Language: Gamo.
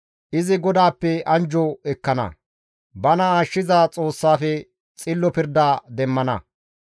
izi GODAAPPE anjjo ekkana; bana ashshiza Xoossafe xillo pirda demmana.